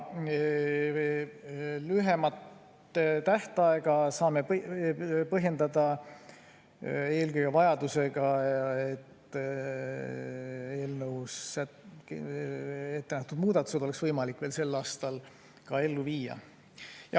Lühemat tähtaega saame põhjendada eelkõige vajadusega, et eelnõus ette nähtud muudatused peab olema võimalik veel sel aastal ka ellu viia.